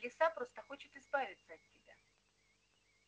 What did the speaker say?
лиса просто хочет избавиться от тебя